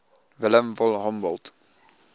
wilhelm von humboldt